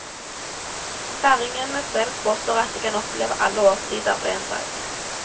Færingene selv påstår at de kan oppleve alle årstider på én dag.